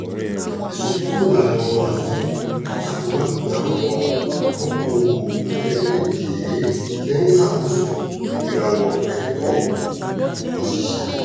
ìsún kúrò ìlànà ọrọ ajé ṣàkóbá bí àwọn okòòwò kékékèé ṣe n ṣàkóso ìràwọ ẹtọ òṣìṣẹ